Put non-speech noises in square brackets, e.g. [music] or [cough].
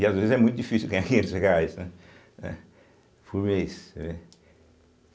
E às vezes é muito difícil ganhar quinhentos reais, né, né por mês [unintelligible]